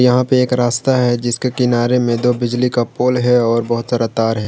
यहां पे एक रास्ता है जिसके किनारे में दो बिजली का पोल है और बहुत सारा तार है।